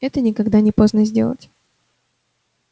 это никогда не поздно сделать